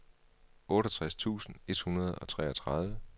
otteogtres tusind et hundrede og treogtredive